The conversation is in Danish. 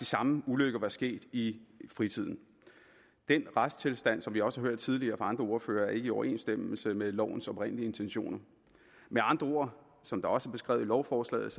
samme ulykke var sket i fritiden den retstilstand som vi også har hørt tidligere fra andre ordførere er ikke i overensstemmelse med lovens oprindelige intentioner med andre ord som det også er beskrevet i lovforslaget